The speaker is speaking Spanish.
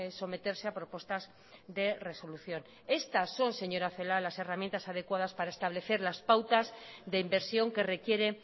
someterse a propuestas de resolución estas son señora celaá las herramientas adecuadas para establecer las pautas de inversión que requiere